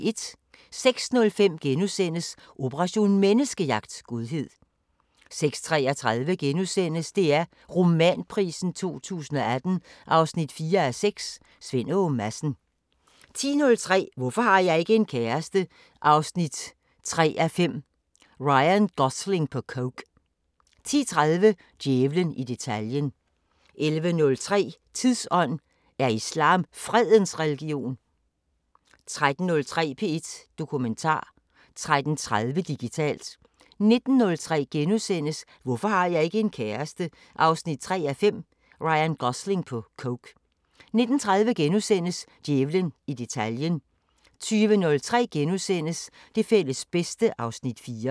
06:05: Operation Menneskejagt: Godhed * 06:33: DR Romanprisen 2018 4:6 – Svend Åge Madsen * 10:03: Hvorfor har jeg ikke en kæreste? 3:5 – Ryan Gosling på coke 10:30: Djævlen i detaljen 11:03: Tidsånd: Er islam fredens religion? 13:03: P1 Dokumentar 13:30: Digitalt 19:03: Hvorfor har jeg ikke en kæreste? 3:5 – Ryan Gosling på coke * 19:30: Djævlen i detaljen * 20:03: Det fælles bedste (Afs. 4)*